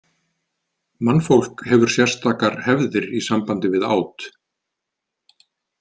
Mannfólk hefur sérstakar hefðir í sambandi við át.